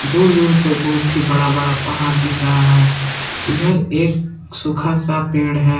दूर दूर पर बहुत ही बड़ा बड़ा पहाड़ दिख रहा है इधर एक सूखा सा पेड़ है।